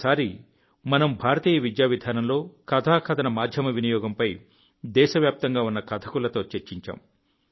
ఒకసారి మనం భారతీయ విద్యా విధానంలో కథాకథన మాధ్యమ వినియోగంపై దేశవ్యాప్తంగా ఉన్న కథకులతో చర్చించాం